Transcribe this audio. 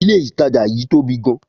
Ilé ìtajà yí tóbi gan